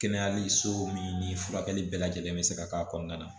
Kɛnɛyali so min ni furakɛli bɛɛ lajɛlen bɛ se ka k'a kɔnɔna na